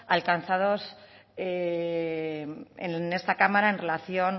alcanzados en esta cámara en relación